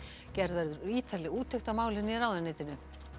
gerð verður ítarleg úttekt á málinu í ráðuneytinu